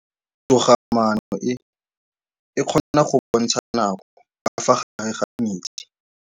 Toga-maanô e, e kgona go bontsha nakô ka fa gare ga metsi.